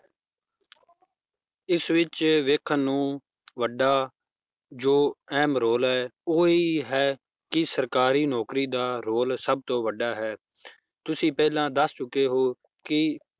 ਇਸ ਵਿੱਚ ਵੇਖਣ ਨੂੰ ਵੱਡਾ ਜੋ ਅਹਿਮ role ਹੈ ਉਹ ਇਹ ਹੀ ਹੈ ਕਿ ਸਰਕਾਰੀ ਨੌਕਰੀ ਦਾ ਰੋਲ ਸਭ ਤੋਂ ਵੱਡਾ ਹੈ ਤੁਸੀਂ ਪਹਿਲਾਂ ਦੱਸ ਚੁੱਕੇ ਹੋ ਕਿ